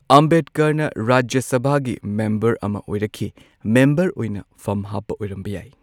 ꯑꯝꯕꯦꯗꯀꯔꯅ ꯔꯥꯖ꯭ꯌ ꯁꯚꯥꯒꯤ ꯃꯦꯝꯕꯔ ꯑꯃꯥ ꯑꯣꯏꯔꯛꯈꯤ꯫ ꯃꯦꯝꯕꯔ ꯑꯣꯢꯅ ꯐꯝ ꯍꯥꯞꯄ ꯑꯣꯢꯔꯝꯕ ꯌꯥꯢ꯫